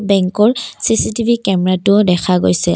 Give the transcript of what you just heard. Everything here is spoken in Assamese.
বেঙ্কৰ চি_চি_টি_ভি কেমেৰাটোও দেখা গৈছিল।